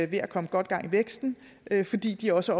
ved at komme godt gang i væksten fordi de også